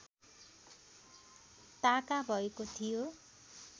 ताका भएको थियो